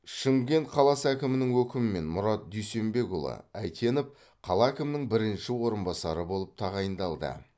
шымкент қаласы әкімінің өкімімен мұрат дүйсенбекұлы әйтенов қала әкімінің бірінші орынбасары болып тағайындалды